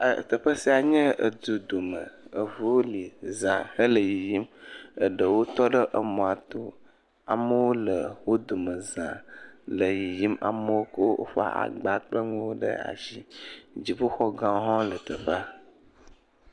Teƒe sia nye edu du me, eŋuwo le za hele yiyim, eɖewo tɔ ɖe emɔa to, amewo le wo dome za, le yiyim, amewo kɔ woƒe agba kple nuwo ɖe asi, dziƒoxɔ gãwo hã le teƒea.